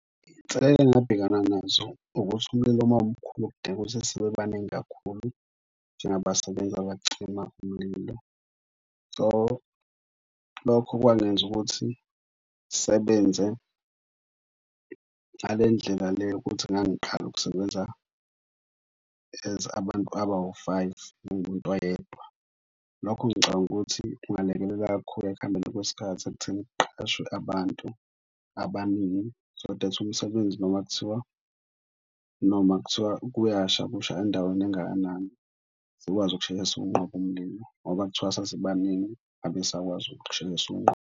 Inselelo engabhekana nazo ukuthi umlilo uma umkhulu kudinga ukuthi sibe baningi kakhulu njengabasebenzi abacima umlilo. So, lokho kwangenza ukuthi ngisebenze ngale ndlela le yokuthi ngangiqala ukusebenza as abantu abawu-five ngiwumuntu oyedwa. Lokho ngicabanga ukuthi kungalekelela kakhulu ekuhambeni kwesikhathi ekutheni kuqeqeshwe abantu abaningi. So that umsebenzi noma kuthiwa, noma kuthiwa kuyasha kusha endaweni engakanani, sikwazi ukusheshe siwunqobe umlilo ngoba kuthiwa sasibaningi ngabe sakwazi ukusheshe siwunqobe.